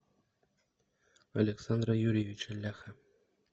александра юрьевича ляха